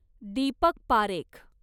Deepak Parekh